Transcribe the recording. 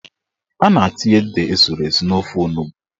A na-etinye ede esuru esu n'ofe onugbo.